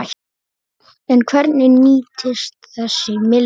En hvernig nýtist þessi milljón?